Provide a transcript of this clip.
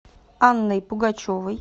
анной пугачевой